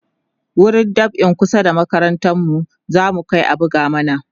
wurin dab'in kusa da makarantar mu zamu Kai a buga mana